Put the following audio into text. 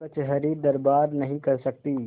कचहरीदरबार नहीं कर सकती